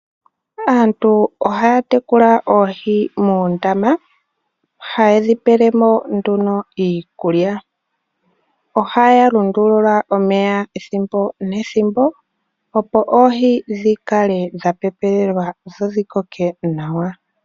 Aantu ohaya tekula oohi moondama, ha ye dhi pele mo nduno iikulya, ohaya lundulula omeya ethimbo nethimbo opo oohi dhikale dha pepelelwa dho dhikale nawa.